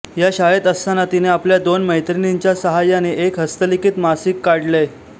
या शाळेत असताना तिने आपल्या दोन मैत्रिणींच्या सहाय्याने एक हस्तलिखित मासिक काढले